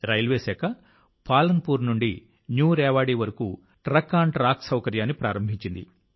railway శాఖ పాలన్పూర్ నుండి New Rewari వరకు ట్రక్ఆన్ట్రాక్ సౌకర్యాన్ని ప్రారంభించింది